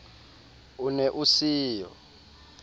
o ne o se yo